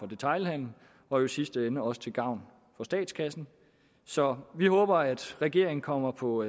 detailhandelen og i sidste ende også til gavn for statskassen så vi håber at regeringen kommer på